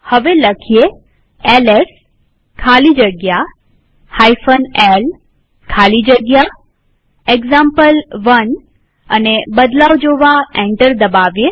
હવે એલએસ ખાલી જગ્યા l ખાલી જગ્યા એક્ઝામ્પલ1 લખીએ અને બદલાવ જોવા એન્ટર દબાવીએ